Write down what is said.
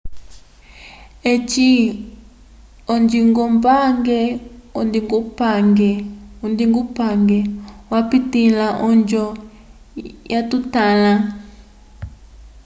eci ondingupange yapitĩla onjo yatotãla